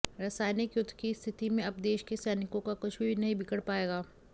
रासायनिक युद्ध की स्थिति में अब देश के सैनिकों का कुछ भी नहीं बिगड़ पाएगा